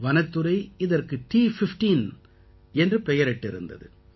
வனத்துறை இதற்கு T15 என்று பெயரிட்டிருந்தது